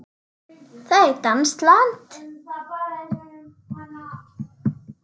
Það er danskt land.